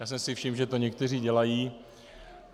Já jsem si všiml, že to někteří dělají.